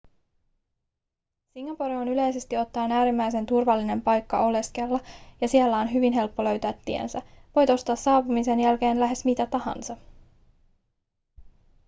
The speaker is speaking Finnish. singapore on yleisesti ottaen äärimmäisen turvallinen paikka oleskella ja siellä on hyvin helppo löytää tiensä voit ostaa saapumisen jälkeen lähes mitä tahansa